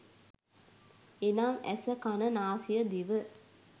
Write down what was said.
එනම් ඇස, කන, නාසය, දිව,